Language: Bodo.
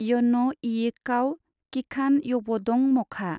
यन इयिखाव किखान-यबदं मखा?